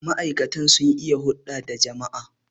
ma'aikatan sun iya hulda da jama'a?